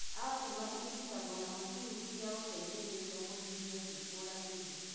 Acima irigitagwo na macini cia gũteithĩrĩria kũhihia ciĩkũranĩire